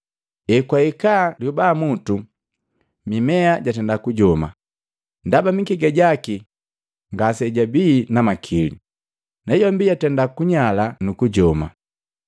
Ekwahika lyobamutu, mimea jatenda kujoma, ndaba mikega jaki ngasijabii na makili, nayombi yatenda kunyala nukujoma.